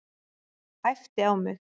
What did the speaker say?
Æpti á mig.